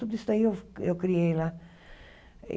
Tudo isso aí eu eu criei lá.